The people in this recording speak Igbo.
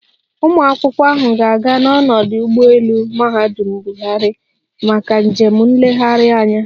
Ụmụakwụkwọ ahụ ga-aga n'ọdụ ụgbọelu Muhammadu Buhari maka njem nlegharị anya